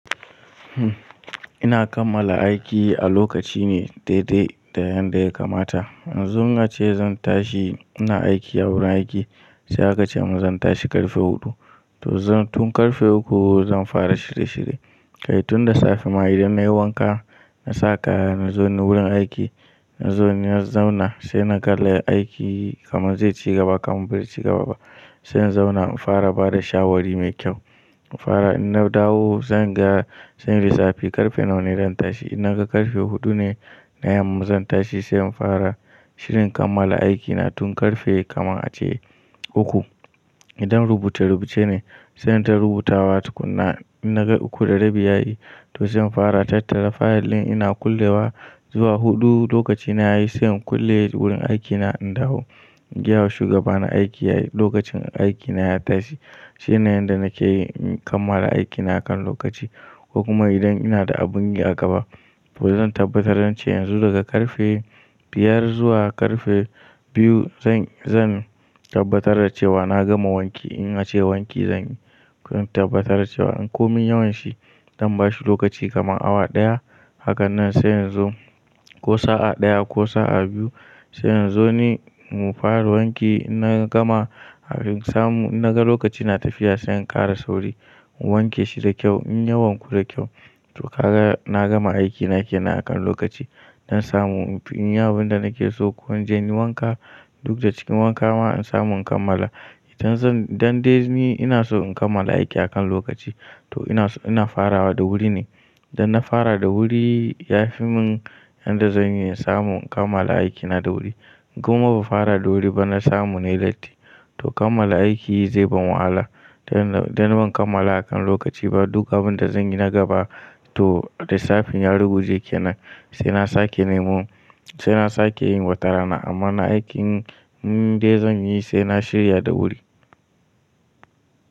Ina kammala aiki a lokaci ne daidai da yanda ya kamata. Yanzu in ace zan tashi, ina aiki a wurin aiki sai aka ce min zan tashi ƙarfe huɗu to zan tun ƙarfe uku zan fara shirye shirye. Kai tun da safe ma idan nayi wanka na saka nazo ni wurin aiki, nazo ni na zauna sai na kalla aiki kamar zai ci gaba kamar bai ci gaba ba. Sai in zauna in fara bada shawari mai kyau. In fara inna dawo zanga zanyi lissafi ƙarfe nawane zan tashi. In naga ƙarfe huɗune na yamma zan tashi sai in fara shirin kammala aikina tun ƙarfe kamar ace uku. Idan rubuce rubuce ne sai inta rubutawa tukunna. In naga uku da rabi yayi to zan fara tattara fayil ɗin ina kullewa zuwa huɗu lokacina yayi sai in kulle wurin aikina in dawo. In gayawa shugaba na aiki lokacin aikina ya tashi. Shine yanda nake yi in kammala aikina akan lokaci ko kuma idan ina da abin yi a gaba to zan tabbatar da ce yanzu daga ƙarfe biyar zuwa ƙarfe biyu zan, zan tabbatar da cewa na gama wanki in ace wanki zanyi. Zan tabbatar da cewa in ko min yawanshi zan bashi lokaci kamar awa ɗaya. Haka nan sai inzo ko sa'a ɗaya ko sa'a biyu sai inzo ni mu fara wanki. In na gama in samu in naga lokaci na tafiya sai in ƙara sauri mu wanke shi da kyau in ya wanku da kyau to kaga na gama aikina kenan akan lokaci. Zan samu inyi abinda nake so ko inje inyi wanka duk da cikin wanka ma in samu in kammala. Idan zan, idan dai ni ina so in kammala aiki akan lokaci to ina so ina farawa da wuri ne. Idan na fara da wuri yafi min yanda zan iya samu in kammala aikina da wuri. Koma bamu fara da wuri ba na samu nayi latti to kammala aiki zai ban wahala. Dan, dan in kammala akan lokaci ba duk abin da zanyi na gaba to lissafin ya ruguje kenan sai na sake neman, sai na sake yin watarana amma na aikin dai zan yi sai na shirya da wuri.